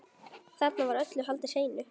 Þarna var öllu haldið hreinu.